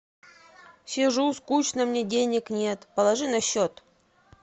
сижу скучно мне денег нет положи на счет